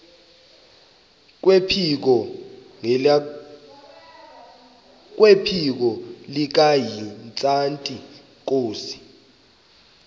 kwephiko likahintsathi inkosi